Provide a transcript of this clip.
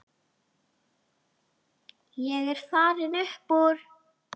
Ég er farinn upp úr.